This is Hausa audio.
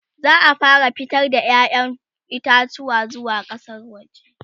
za'a fara fitar da ƴaƴan itatuwa zuwa kasan waje